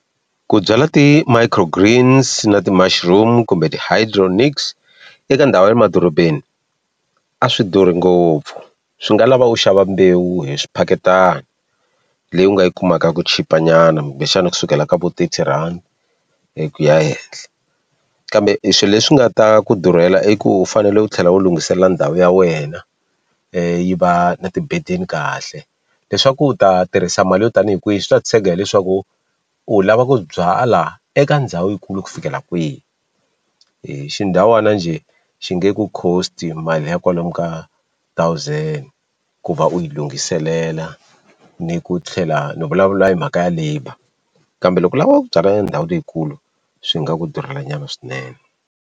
Ku byala ti-microgreens na ti-mushroom kumbe ti-hydroponics eka ndhawu ya le madorobeni a swi durhi ngopfu swi nga lava u xava mbewu hi swiphakelana leyi u nga yi kumaka ku chipa nyana kumbexani kusukela ka vo thirty rand ku ya henhle kambe swilo leswi nga ta ku durhela i ku u fanele u tlhela u lunghisela ndhawu ya wena yi va na kahle leswaku u ta tirhisa mali yo tanihi kwihi swi ta tshega hileswaku u lava ku byala eka ndhawu yikulu ku fikela kwihi hi xindhawana njhe xi nge ku cost mali liya kwalomu ka thousand ku va u yi lunghiselela ni ku tlhela ni vulavula hi mhaka ya labour kambe loko u lava ku byala endhawu leyikulu swi nga ku durhela nyana swinene.